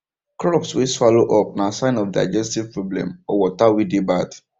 crops way swallow up na sign of digestive problem or water way dey bad